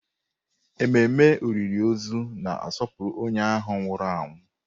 Ememe olili ozu na-asọpụrụ onye ahụ nwụrụ anwụ.